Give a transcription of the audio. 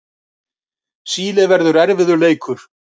Síle verður erfiður leikur.